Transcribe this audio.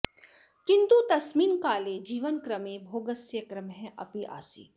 किन्तु तस्मिन् काले जीवनक्रमे भोगस्य क्रमः अपि आसीत्